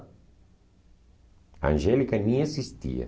Angélica nem existia.